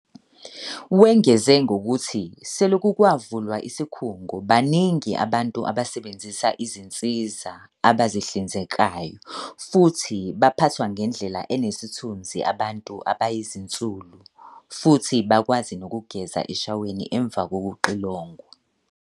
Wengeze ngokuthi selokhu kwavulwa isikhungo, baningi abantu abasebenzisa izinsiza abazihlinzekayo futhi baphathwa ngendlela enesithunzi abantu abayizisulu futhi bakwazi nokugeza eshaweni emva kokuxilongwa.